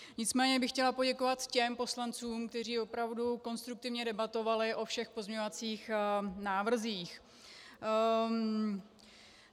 Nicméně bych chtěla poděkovat těm poslancům, kteří opravdu konstruktivně debatovali o všech pozměňovacích návrzích.